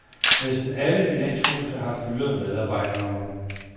Næsten alle finanshuse har fyret medarbejdere.